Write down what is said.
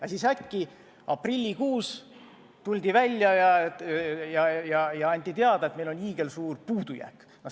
Aga siis äkki, aprillikuus anti teada, et meil on hiigelsuur puudujääk.